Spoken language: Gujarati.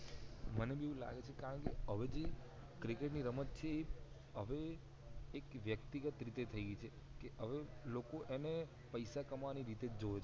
મને એવું લાગે છે કે હવે જે ક્રિકેટ ની રમત છે એ હવે એક વ્યક્તિગત રીતે થઈ ગઈ છે હવે લોકો એને પૈસા કમાવા ની રીતે જોવે છે